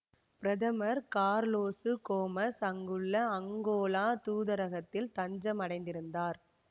பிரதமர் Carlos Gomes அங்குள்ள Angola தூதரகத்தில் தஞ்சம் அடைந்திருந்தார்